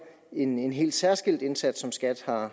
en en helt særskilt indsats som skat har